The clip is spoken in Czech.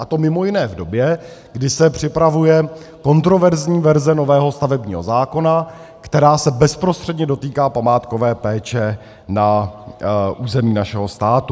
A to mimo jiné v době, kdy se připravuje kontroverzní verze nového stavebního zákona, která se bezprostředně dotýká památkové péče na území našeho státu.